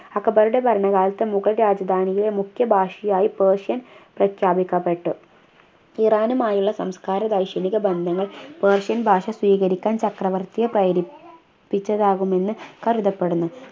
അക്ബറുടെ ഭരണകാലത്ത് മുഗൾ രാജധാനിയിലെ മുഖ്യ ഭാഷയായി persian പ്രഖ്യാപിക്കപ്പെട്ടു ഇറാനുമായുള്ള സംസ്കാര വൈശനിക ബന്ധങ്ങൾ persian ഭാഷ സ്വീകരിക്കാൻ ചക്രവർത്തിയെ പ്രേരിപ്പിച്ചതാകുമെന്നു കരുതപ്പെടുന്നു